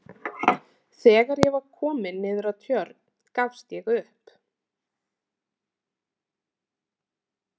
Þegar ég var kominn niður að Tjörn gafst ég upp.